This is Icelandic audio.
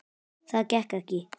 Það gekk ekki